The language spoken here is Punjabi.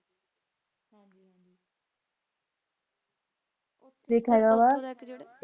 ਰੇਖਾ ਆਯ ਵਾ